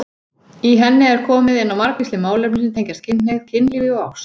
Í henni er komið inn á margvísleg málefni sem tengjast kynhneigð, kynlífi og ást.